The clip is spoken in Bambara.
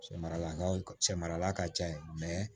Cɛ maraw sɛmaara ka ca yen